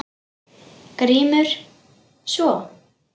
GRÍMUR: Svo?